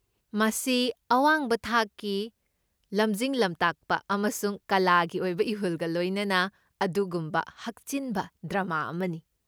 ꯃꯁꯤ ꯑꯋꯥꯡꯕ ꯊꯥꯛꯀꯤ ꯂꯝꯖꯤꯡ ꯂꯝꯇꯥꯛꯄ ꯑꯃꯁꯨꯡ ꯀꯂꯥꯒꯤ ꯑꯣꯏꯕ ꯏꯍꯨꯜꯒ ꯂꯣꯏꯅꯅ ꯑꯗꯨꯒꯨꯝꯕ ꯍꯛꯆꯤꯟꯕ ꯗ꯭ꯔꯥꯃꯥ ꯑꯃꯅꯤ꯫